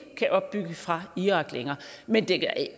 kan opbygge fra irak men det